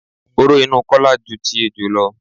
Oró inú Kọ́lá ju ti ejò lọ.